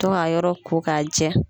To ka yɔrɔ kokajɛ.